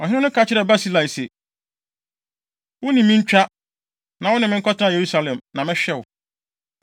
Ɔhene no ka kyerɛɛ Barsilai se, “Wo ne me ntwa, na wo ne me nkɔtena Yerusalem, na mɛhwɛ wo.”